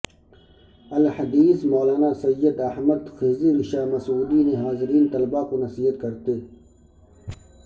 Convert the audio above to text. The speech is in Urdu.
الحدیث مولانا سید احمد خضر شاہ مسعودی نے حاضرین طلباء کو نصیحت کرتے